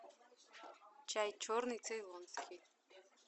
чай черный цейлонский